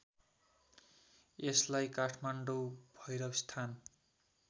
यसलाई काठमाडौँ भैरवस्थान